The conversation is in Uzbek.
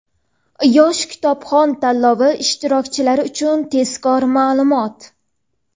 "Yosh kitobxon" tanlovi ishtirokchilari uchun tezkor ma’lumot!.